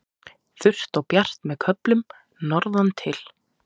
Þurrt og bjart með köflum norðantil